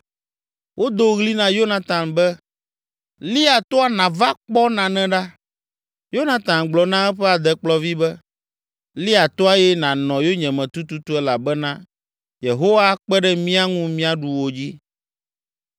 Wodo ɣli na Yonatan be, “Lia toa nàva kpɔ nane ɖa.” Yonatan gblɔ na eƒe adekplɔvi be, “Lia toa eye nànɔ yonyeme tututu elabena Yehowa akpe ɖe mía ŋu míaɖu wo dzi!”